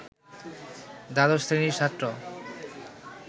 দ্বাদশ শ্রেণির ছাত্র